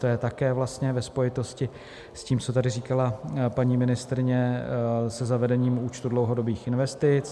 To je také vlastně ve spojitosti s tím, co tady říkala paní ministryně, se zavedením účtu dlouhodobých investic.